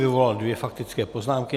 Vyvolal dvě faktické poznámky.